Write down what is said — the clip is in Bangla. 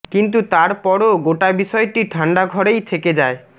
কিন্তু তার পরও গোটা বিষয়টি ঠান্ডা ঘরেই থেকে যায়